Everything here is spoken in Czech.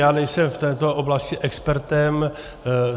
Já nejsem v této oblasti expertem.